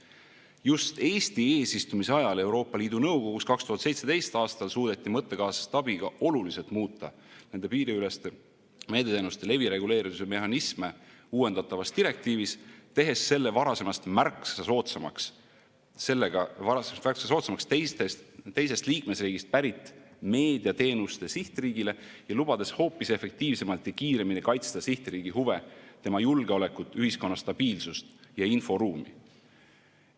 Just Eesti eesistumise ajal Euroopa Liidu Nõukogus 2017. aastal suudeti mõttekaaslaste abiga oluliselt muuta nende piiriüleste meediateenuste levi reguleerimise mehhanisme uuendatavas direktiivis, tehes selle varasemast märksa soodsamaks teisest liikmesriigist pärit meediateenuste sihtriigile ja lubades hoopis efektiivsemalt ja kiiremini kaitsta sihtriigi huve, tema julgeolekut, ühiskonna stabiilsust ja inforuumi.